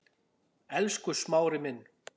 Elsku Smári minn.